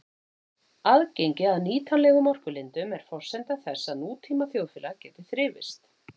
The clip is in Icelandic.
Aðgengi að nýtanlegum orkulindum er forsenda þess að nútíma þjóðfélag geti þrifist.